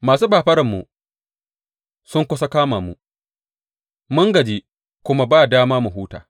Masu fafararmu sun kusa kama mu; mun gaji kuma ba dama mu huta.